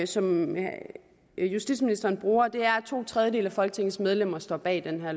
som justitsministeren bruger og det er at to tredjedele af folketingets medlemmer står bag det her